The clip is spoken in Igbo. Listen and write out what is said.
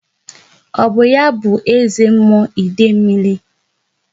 Ọ bụ ya bụ eze mmụọ Idemil?